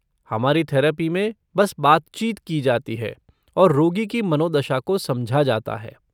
हमारी थेरपी में बस बातचीत की जाती है और रोगी की मनोदशा को समझा जाता है।